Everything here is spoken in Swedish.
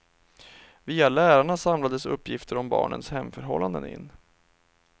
Via lärarna samlades uppgifter om barnens hemförhållanden in.